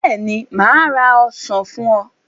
Bẹ́ẹ̀ ni, mà á ra ọsàn fún ọ.